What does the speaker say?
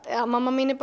mamma mína er